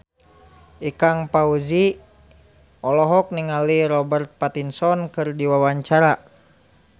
Ikang Fawzi olohok ningali Robert Pattinson keur diwawancara